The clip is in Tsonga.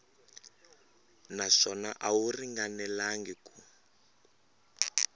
naswona a wu ringanelangi ku